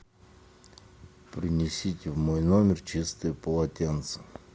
принесите в мой номер чистое полотенце